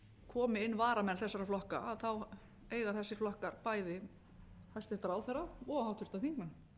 komi inn varamenn þessara flokka eiga þessir flokkar bæði hæstvirtan ráðherra og háttvirtir þingmenn